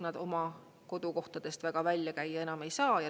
Nad oma kodukohtadest väga välja käia enam ei saa.